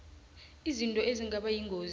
izinto ezingaba yingozi